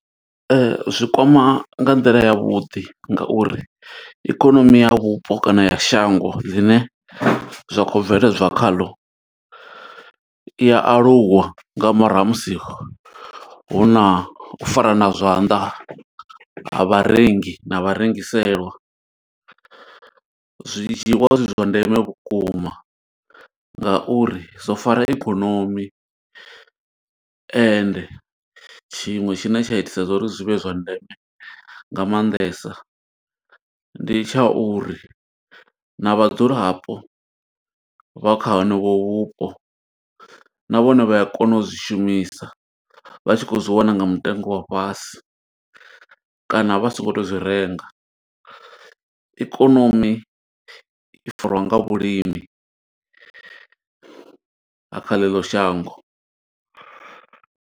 Ee, zwi kwama nga nḓila ya vhuḓi nga uri ikonomi ya vhupo kana ya shango ḽine zwa khou bveledzwa khaḽo. I ya aluwa nga murahu ha musi hu na u farana zwanḓa ha vharengi na vharengiselwa. Zwi dzhiiwa zwi zwa ndeme vhukuma nga uri zwo fara ikonomi, ende tshiṅwe tshine tsha itisa zwa uri zwi vhe zwa ndeme nga maanḓesa. Ndi tsha uri na vhadzulapo vha kha honovho vhupo na vhone vha ya kona u zwi shumisa, vha tshi khou zwi wana nga mutengo wa fhasi. Kana vha songo tea u zwi renga, ikonomi i farwa nga vhulimi ha kha ḽeḽo shango.